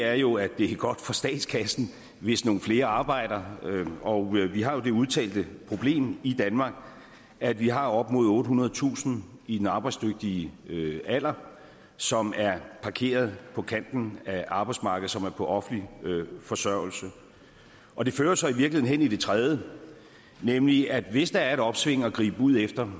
er jo at det er godt for statskassen hvis nogle flere arbejder og vi har jo det udtalte problem i danmark at vi har op mod ottehundredetusind i den arbejdsdygtige alder som er parkeret på kanten af arbejdsmarkedet og som er på offentlig forsørgelse og det fører jo så i virkeligheden hen til det tredje nemlig at hvis der er et opsving at gribe ud efter